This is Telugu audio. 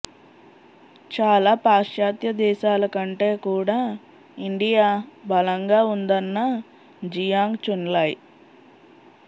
చాలా పాశ్చాత్య దేశాల కంటే కూడా ఇండియా బలంగా ఉందన్న జియాంగ్ చున్లాయ్